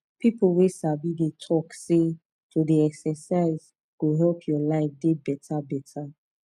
people wey sabi dey talk say to dey exercise go help your life dey better better